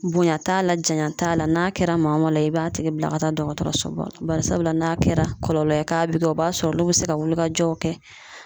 Bonya t'a la janya t'a la n'a kɛra maa o maa la , i b'a tigi bila ka taa dɔgɔtɔrɔso ba la barisabula n'a kɛra kɔlɔlɔ ye k'a bi kɛ o b'a sɔrɔ olu be se ka wulikajɔw kɛ,.